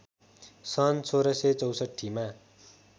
सन् १६६४ मा